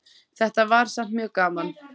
Þetta var samt mjög gaman.